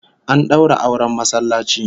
An daura auren masallaci